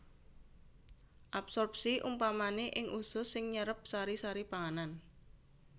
Absorpsi umpamané ing usus sing nyerep sari sari pangananb